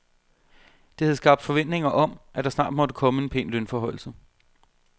Det havde skabt forventninger om, at der snart måtte komme en pæn lønforhøjelse.